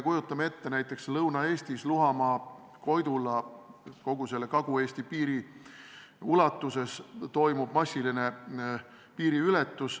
Kujutame ette, et Lõuna-Eestis toimub Luhamaa ja Koidula kandis ning kogu Kagu-Eesti piiri ulatuses massiline piiriületus.